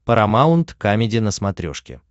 парамаунт камеди на смотрешке